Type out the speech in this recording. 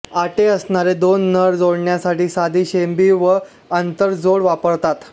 आटे असणारे दोन नळ जोडण्यासाठी साधी शेंबी वा आंतरजोड वापरतात